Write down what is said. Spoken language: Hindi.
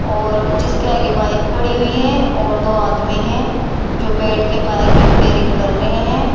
और जिसके आगे बाइक खड़ी हुई है और दो आदमी है जो बैठ के बाइक रिपेयरिंग कर रहे है।